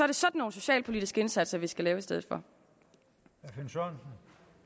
det sådan nogle socialpolitiske indsatser vi skal lave i stedet for